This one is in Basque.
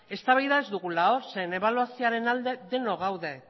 eztabaida ez dugula zeren ebaluazioaren alde denok gaude